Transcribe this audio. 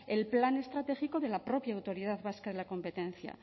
el plan estratégico de la propia autoridad vasca de la competencia